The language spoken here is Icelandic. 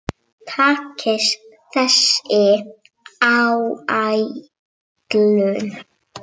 Takist þessi áætlun